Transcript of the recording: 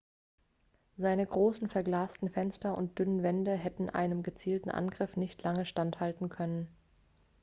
seine großen verglasten fenster und dünnen wände hätten einem gezielten angriff nicht lange standhalten können